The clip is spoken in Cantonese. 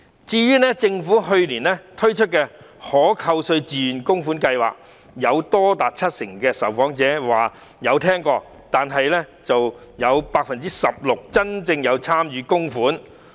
至於政府去年推出的可扣稅自願供款計劃，多達七成的受訪者表示曾經聽聞，但只有 16% 的受訪者真正參與供款。